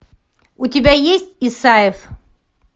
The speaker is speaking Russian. у тебя есть исаев